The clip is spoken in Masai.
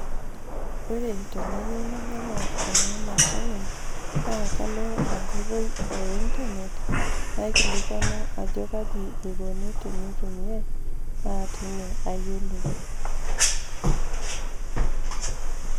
Ore tenayou nainyang'u ena mashini naa kalo enkoitoi e internet, naikilikwanu ajo kai eko pee eitumiai, naa teine ayiolou.